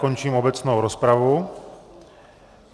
Končím obecnou rozpravu.